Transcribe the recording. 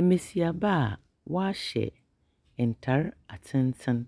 Mmesiaba aa wɔahyɛ ntare atenten